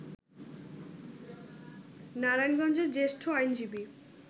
নারায়ণগঞ্জের জ্যেষ্ঠ আইনজীবী